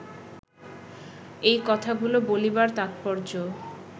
এই কথাগুলি বলিবার তাৎপর্য